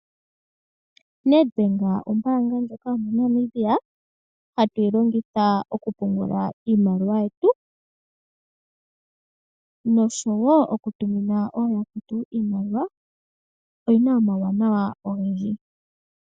Net Bank ombaanga yo mo Namibia hatuyi longitha oku pungula iimaliwa yetu nosho woo oku tumina ooyakwetu. Iimaliwa oyina omawuwanawa ogendji.